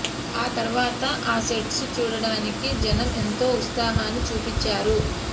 ఆ తరువాత ఆ సెట్స్ చూడటానికి జనం ఎంతో ఉత్సాహాన్ని చూపించారు